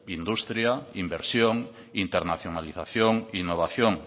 industria inversión internacionalización innovación